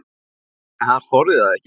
En hann þorði það ekki.